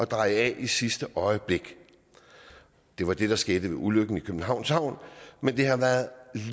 dreje af i sidste øjeblik det var det der skete ved ulykken i københavns havn men